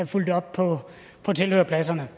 følge op på tilhørerpladserne